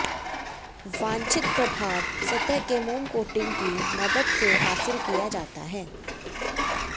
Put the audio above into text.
वांछित प्रभाव सतह के मोम कोटिंग की मदद से हासिल किया जाता है